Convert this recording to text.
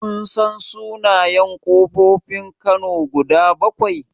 Kun san sunayen ƙofofin kano guda bakwai?